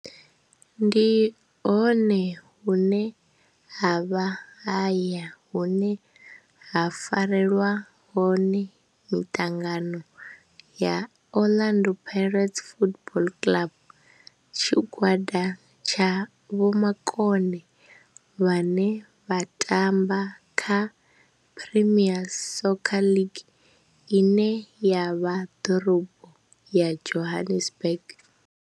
Ndi hone hune havha haya hune ha farelwa hone mitangano ya Orlando Pirates Football Club. Tshigwada tsha vhomakone vhane vha tamba kha Premier Soccer League ine ya vha Dorobo ya Johannesburg.